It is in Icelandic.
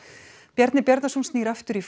Bjarni Bjarnason snýr aftur í